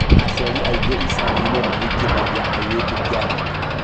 Aciari aingĩ icaginĩ mahikithagia airĩtu kĩa hinya